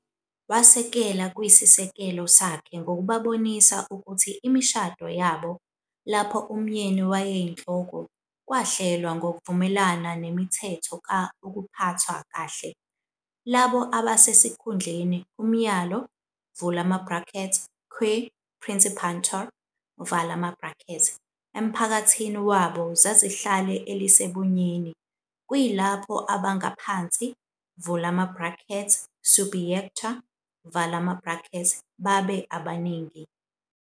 Wasekela kwesisekelo yakhe ngokubabonisa ukuthi imishado yabo, lapho umyeni wayeyinhloko, kwahlelwa ngokuvumelana nemithetho ka ukuphathwa kahle- labo "abasesikhundleni umyalo" "quae principantur" emphakathini wabo zazihlale elisebunyeni, kuyilapho "abangaphansi" "subiecta" babe amaningi.